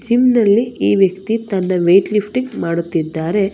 ಹಿಂದಲ್ಲಿ ಈ ವ್ಯಕ್ತಿ ತನ್ನ ವೈಟ್ ಲಿಫ್ಟಿಂಗ್ ಮಾಡುತ್ತಿದ್ದಾರೆ.